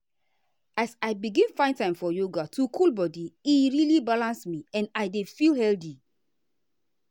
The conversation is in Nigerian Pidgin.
as i begin find time for yoga to cool body e really balance me and i dey feel healthy.